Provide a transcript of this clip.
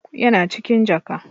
Yana cikin jaka.